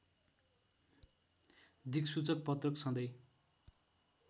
दिक्सूचक पत्रक सधैँ